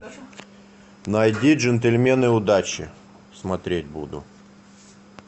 найди джентльмены удачи смотреть буду